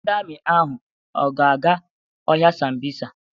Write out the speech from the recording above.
Ndị Amị ahụ a ga-aga ọhịa Sambisa?